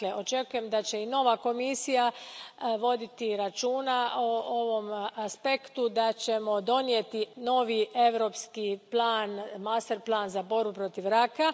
Dakle, očekujem da će i nova Komisija voditi računa o ovom aspektu, da ćemo donijeti novi europski plan, masterplan, za borbu protiv raka.